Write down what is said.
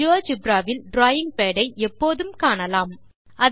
GeoGebra வில் drawing pad ஐ எப்போதும் காணலாம்